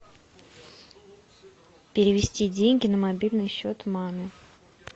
перевести деньги на мобильный счет маме